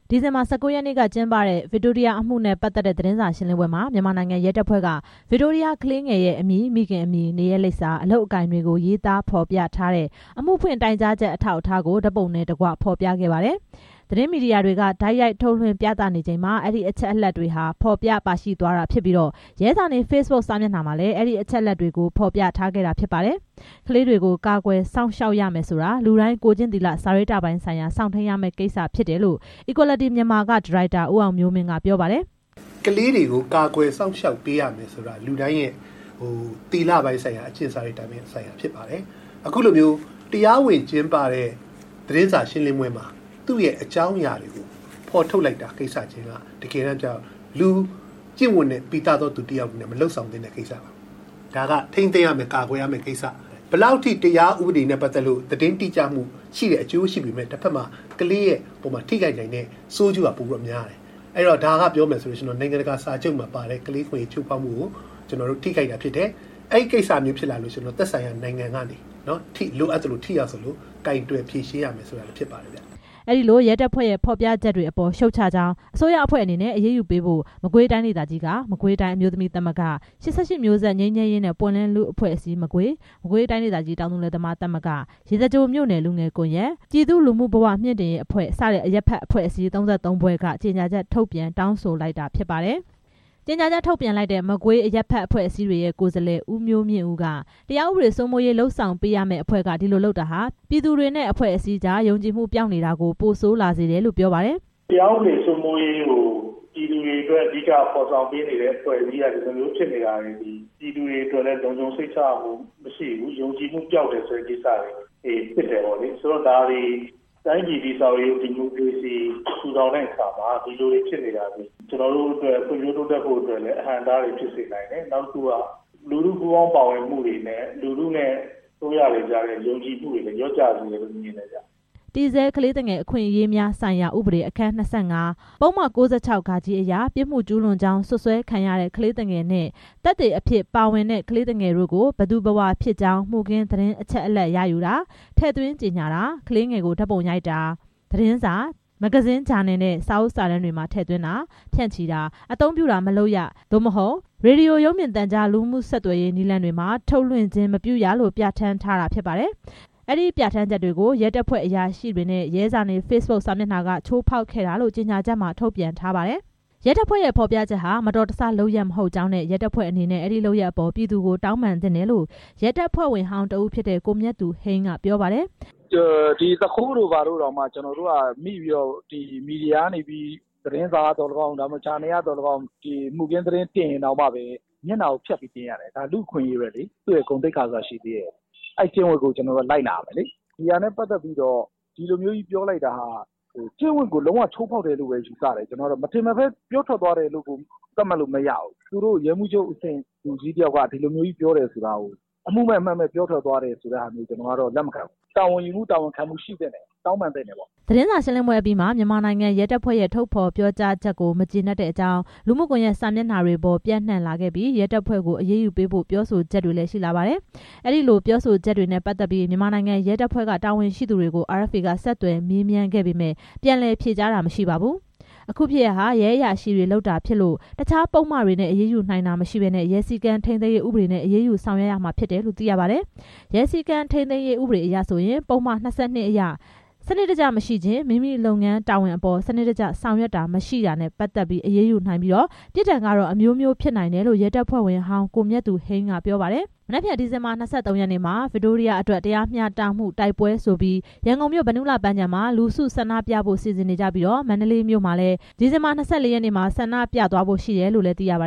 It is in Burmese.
ဒီဇင်ဘာ ၁၉ ရက်နေ့က ကျင်းပတဲ့ ဗစ်တိုးရီးယားအမှုနဲ့ ပတ်သက်တဲ့ သတင်းစာရှင်းလင်းပွဲမှာ မြန်မာနိုင်ငံ ရဲတပ်ဖွဲ့က ဗစ်တိုးရီးယားကလေးငယ်ရဲ့ အမည်၊ မိခင်အမည်၊ နေရပ်လိပ်စာ၊ အလုပ်အကိုင်တွေကို ရေးသားဖော်ပြထားတဲ့ အမှုဖွင့်တိုင်ကြားချက် အထောက်အထားကို ဓါတ်ပုံတွေနဲ့တစ်ကွ ဖော်ပြခဲ့ပါတယ်။ သတင်းမီဒီယာတွေက တိုက်ရိုက်ထုတ်လွှင့်ပြသချိန်မှာ အဲဒီအချက်အလက်တွေဟာ ဖော်ပြပါရှိသွားတာဖြစ်ပြီး ရဲဇာနည်ဖေ့ဘွတ် စာမျက်နှာမှာလည်း အဲဒီအချက်အလက်တွေကို ဖော်ပြထားခဲ့တာဖြစ်ပါတယ်။ ကလေးတွေကို ကာကွယ်စောင့်ရှောက်ရမယ်ဆိုတာ လူတိုင်း ကိုယ်ကျင့်သီလ စာရိတ္တပိုင်းဆိုင်ရာ စောင့်ထိန်းရမယ့် ကိစ္စဖြစ်တယ်လို့ Equality Myanmar က ဒါရိုက်တာ ဦးအောင်မျိုးမင်း က ပြောပါတယ်။ Equality Myanmar က ဒါရိုက်တာ ဦးအောင်မျိုးမင်း ကလေးတွေကို ကာကွယ်စောင့်ရှောက်ပေးရမယ်ဆိုတာ လူတိုင်းရဲ့ အကျင့်စာရိတ္တပိုင်းဆိုင်ရာ ဖြစ်ပါတယ်။ အခုလို တရားဝင်ကျင်းပတဲ့ သတင်းစာရှင်းလင်းပွဲမှာ သူ့ရဲ့အကြောင်းအရာတွေ ဖော်ထုတ်လိုက် တဲ့ကိစ္စက လူ့ကျင့်ဝတ်နဲ့ ပီသတဲ့သူဆို မလုပ်ဆောင်သင့်တဲ့ကိစ္စဒါက ထိန်းသိမ်းရမယ့် ကာကွယ်ရမယ့်ကိစ္စ။ ဘယ်လောက်ထိ တရားဥပဒေနဲ့ ပတ်သက်လို့ သတင်းတိကျမှုအကျိုးရှိပေမယ့် ကလေးအပေါ်မှာ ထိခိုက်နိုင်တဲ့ဆိုးကျိုးက ပိုများတယ်။ ဒါက ပြော မယ်ဆိုရင် နိုင်ငံတကာ စာချုပ်မှာပါတဲ့ ကလေးအခွင့်အရေး ချိုး ဖောက်မှုကို ထိခိုက်တာဖြစ်တယ် အဲဒီကိစ္စဖြစ်လာရင် သက်ဆိုင် ရာနိုင်ငံက လိုအပ်သလို ကိုင်တွယ်ဖြေရှင်းရမှာ ဖြစ်ပါတယ်။ အဲဒီလိုရဲတပ်ဖွဲ့ရဲ့ ဖော်ပြချက်တွေအပေါ် ရှုတ်ချကြောင်းနဲ့ အစိုးရအဖွဲ့အနေနဲ့ အရေးယူပေးဖို့ မကွေးတိုင်းဒေသကြီးက မကွေးတိုင်း အမျိုးသမီးသမဂ္ဂ၊ ၈၈ မျိုးဆက်ငြိမ်းချမ်းရေးနဲ့ ပွင့်လင်းလူ့အဖွဲ့အစည်း (မကွေး)၊ မကွေးတိုင်းဒေသကြီးတောင်သူလယ်သမားသမဂ္ဂ၊ ရေစကြိုမြို့နယ် လူငယ်ကွန်ရက်၊ ပြည်သူ့လူမှုဘဝမြှင့်တင်ရေးအဖွဲ့ စတဲ့ အရပ်ဖက်အဖွဲ့အစည်း ၃၃ ဖွဲ့က ကြေညာချက် ထုတ်ပြန်တောင်းဆိုလိုက်တာဖြစ်ပါတယ်။ ကြေညာချက်ထုတ်ပြန်လိုက်တဲ့ မကွေးအရပ်ဘက်အဖွဲ့အစည်းတွေရဲ့ ကိုယ်စားလှယ် ဦးမျိုးမြင့်ဦး က တရားဥပဒေစိုးမိုးရေးလုပ်ဆောင်ပေးရတဲ့အဖွဲ့က ဒီလိုလုပ်တာဟာ ပြည်သူတွေနဲ့အဖွဲ့အစည်းကြား ယုံကြည်မှုပျောက်နေတာကို ပိုဆိုးလာစေတယ်လို့ပြောပါတယ်။ တရားဥပဒေစိုးမိုးရေးကို ပြည်သူတွေအတွက် အဓိက ဖော်ဆောင်ပေးနေတဲ့အဖွဲ့အစည်းက ဒီလိုမျိုးဖြစ်တယ် ဆိုတာ ပြည်သူတွေအတွက် လုံခြုံစိတ်ချမှုမရှိဘူးယုံကြည်မှုပျောက်တယ်ဆိုတာတွေ ဖြစ်တယ်။ တိုင်းပြည် တည်ဆောက်ရေး ဒီမိုကရေစီထူထောင်တဲ့ အခါမှာလည်း အဟန့်အတားတွေဖြစ်တယ် လူထုပူးပေါင်းပါဝင်မှုနဲ့ လူထုနဲ့ အစိုးရကြားမှာလည်း ယုံကြည်မှုတွေ လျှော့ကျစေတယ်။ တည်ဆဲကလေးသူငယ်အခွင့်အရေးများဆိုင်ရာ ဥပဒေ အခန်း၂၅၊ ပုဒ်မ ၉၆ (ဃ) အရ ပြစ်မှုကျူးလွန်ကြောင်း စွပ်စွဲခံရတဲ့ ကလေးသူငယ်နဲ့ သက်သေအဖြစ်ပါဝင်တဲ့ ကလေးသူငယ်တို့ကို ဘယ်သူဘယ်ဝါဖြစ်ကြောင်း မှုခင်းသတင်းအချက်အလက်ရယူတာ၊ ထည့်သွင်းကြေညာတာ၊ ကလေးငယ်ကိုဓါတ်ပုံရိုက်တာ၊ သတင်းစာ၊ မဂ္ဂဇင်းဂျာနယ်နဲ့စာအုပ်စာတမ်းတွေမှာ ထည့်သွင်းတာ၊ ဖြန့်ချီတာ၊ အသုံးပြုတာမလုပ်ရ သို့မဟုတ် ရေဒီယိုရုပ်မြင်သံကြား လူမှုဆက်သွယ်ရေးနည်းလမ်းတွေမှာ ထုတ်လွင့်ခြင်းမပြုရလို့ ပြဌာန်းထားတာဖြစ်ပါတယ်။ နိုင်ငံတကာစာချုပ်မှာပါတဲ့ ကလေးအခွင့်အရေး ချိုးဖောက်မှုကို ထိခိုက်တာဖြစ်တယ် အဲဒီပြဌာန်းချက်ကို ရဲတပ်ဖွဲ့အရာရှိတွေနဲ့ ရဲဇာနည် ဖေ့စ်ဘွတ်စာမျက်နှာက ချိုးဖောက်ခဲ့တာလို့ ကြေညာချက်မှာထုတ်ပြန်ထားပါတယ်။ ရဲတပ်ဖွဲ့ရဲ့ ဖော်ပြချက်ဟာ မတော်တဆလုပ်ရပ် မဟုတ် ကြောင်းနဲ့ ရဲတပ်ဖွဲ့အနေနဲ့ အဲဒီလုပ်ရပ်အပေါ် ပြည်သူကို တောင်းပန်သင့်တယ်လို့ ရဲတပ်ဖွဲ့ဝင်ဟောင်း တစ်ဦးဖြစ်တဲ့ ကိုမြတ်သူဟိန်း က ပြောပါတယ်။ သူခိုးတို့ ဘာတို့တောင် မိပြီး မီဒီယာကနေ သတင်းစာက ဂျာနယ်က တင်ရင်တောင် မျက်နှာဖျက်ပြီး တင်ရတယ် ဒါလူ့အခွင့်အရေးပဲလေသူ့ရဲ့ ဂုဏ်သိက္ခာဆိုတာ ရှိသေးတယ်အဲကျင့်ဝတ်ကို လိုက်နာရမယ်လေ။ ဒါကိစ္စကို ဒီလိုပြောလိုက်တယ်ဆိုတာက ကျင့်ဝတ်ကို လုံးဝချိုးဖောက်လိုက်တယ်လို့ပဲ ယူဆတယ်မထင်မှတ်ဘဲ ပြောထွက် သွားတယ်လို့ သတ်မှတ်လို့မရဘူး။ ရဲမှူးချုပ်အဆင့် လူကြီးတစ်ယောက်က ဒီလိုပြောထွက်တယ်ဆိုတာ အမှုမဲ့ အမှတ်မဲ့ ပြောထွက်တယ်လို့ ကျနော်က လက်မခံဘူး။ တာဝန်ယူမှုတာဝန်ခံမှု ရှိသင့်တယ် တောင်းပန်သင့် တယ်ပေါ့။ သတင်းစာရှင်းလင်းပွဲအပြီးမှာ မြန်မာနိုင်ငံ ရဲတပ်ဖွဲ့ရဲ့ ထုတ်ဖော်ပြောကြားချက်ကို မကျေနပ်တဲ့အကြောင်း လူမှုကွန်ယက် စာမျက်နှာပေါ် ပျံ့နှံလာခဲ့ပြီး ရဲတပ်ဖွဲ့ကို အရေးယူပေးဖို့ ပြောဆိုချက်တွေလည်း ရှိလာပါတယ်။ အဲဒီပြောဆိုချက်တွေနဲ့ပတ်သက်ပြီး မြန်မာနိုင်ငံ ရဲတပ်ဖွဲ့ တာဝန်ရှိသူတွေကို RFA က ဆက်သွယ်မေးမြန်းခဲ့ ပေမယ့် ပြန်လည်ဖြေကြားတာမရှိပါဘူး။ အခုဖြစ်ရပ်ဟာ ရဲအရာရှိတွေ လုပ်တာဖြစ်လို့ တစ်ခြားပုဒ်မနဲ့ အရေးယူနိုင်ခြင်းမရှိဘဲ ရဲစည်းကမ်း ထိန်းသိမ်းရေး ဥပဒေနဲ့ အရေးယူဆောင်ရွက်ရမှာဖြစ်တယ်လို့ သိရပါတယ်။ ရဲစည်းကမ်ထိန်းသိမ်းရေး ဥပဒေအရဆိုရင် ပုဒ်မ ၂၂ အရ စနစ်တကျမရှိခြင်း (မိမိလုပ်ငန်းတာဝန်အပေါ် စနစ် တကျဆောင်ရွက်တာမရှိခြင်း)နဲ့ အရေးယူနိုင်ပြီး ပြစ်ဒဏ်ကတော့ အမျိုးမျိုးဖြစ်နိုင်တယ်လို့ ရဲတပ်ဖွဲ့ဝင်ဟောင်း ကိုမြတ်သူဟိန်းက ပြောပါတယ်။ မနက်ဖြန် ဒီဇင်ဘာ ၂၃ ရက်နေ့မှာ ဗစ်တိုးရီးယားအတွက် တရားမျှတမှုတိုက်ပွဲဆိုပြီး ရန်ကုန်မြို့၊ ဗန္ဓုလပန်းခြံမှာ လူစုဆန္ဒပြဖို့ စီစဉ်နေကြပြီး မန္တလေးမြို့မှာ ဒီဇင်ဘာ ၂၄ ရက်နေ့မှာ ဆန္ဒပြသွားဖို့ရှိတယ်လို့လည်း သိရပါ